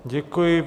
Děkuji.